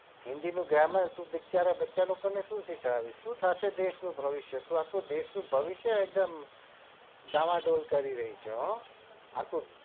હિન્દી નું gramar શું થશે દેશ નું ભવિષ્યતું આખા દેશ નું ભવિષ્ય એકદમ દોમા દોડ કરી રહી છે હો